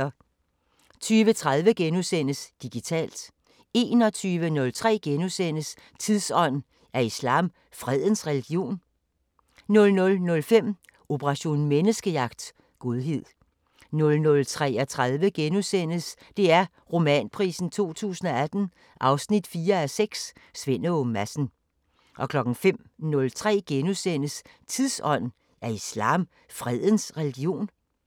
20:30: Digitalt * 21:03: Tidsånd: Er islam fredens religion? * 00:05: Operation Menneskejagt: Godhed 00:33: DR Romanprisen 2018 4:6 – Svend Åge Madsen * 05:03: Tidsånd: Er islam fredens religion? *